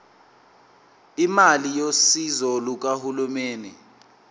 imali yosizo lukahulumeni